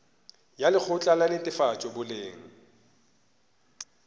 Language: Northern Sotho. ya lekgotla la netefatšo boleng